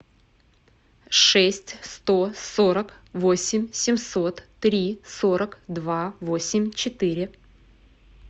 шесть сто сорок восемь семьсот три сорок два восемь четыре